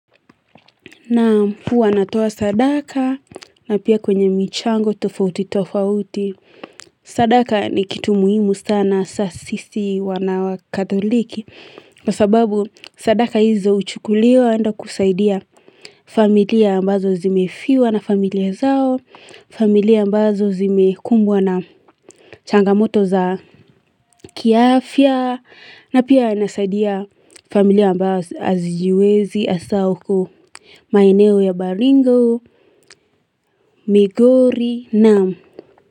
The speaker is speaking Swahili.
Na puwa natuwa sadaka na pia kwenye michango tofauti tofauti. Sadaka ni kitu muhimu sana sasisi wanawa katholiki. Kwa sababu sadaka hizo uchukulio anda kusaidia familia ambazo zimefiwa na familia zao. Familia ambazo zimekumbwa na changamoto za kiafya. Na pia nasaidia familia amba azijiwezi asaoko maeneo ya Baringo, Migori, Nam.